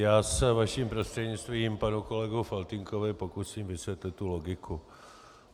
Já se vaším prostřednictvím panu kolegovi Faltýnkovi pokusím vysvětlit tu logiku.